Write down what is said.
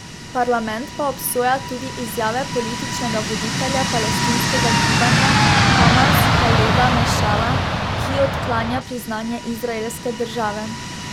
Parlament pa obsoja tudi izjave političnega voditelja palestinskega gibanja Hamas Haleda Mešala, ki odklanja priznanje izraelske države.